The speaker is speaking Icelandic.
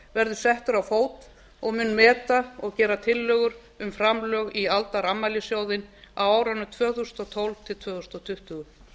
verður settur á fót og mun meta og gera tillögur um framlög í aldarafmælissjóðinn á árunum tvö þúsund og tólf til tvö þúsund tuttugu